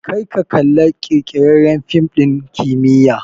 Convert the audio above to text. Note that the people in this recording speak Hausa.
Kar ka kalla ƙirƙirarren fim ɗin kimiyya!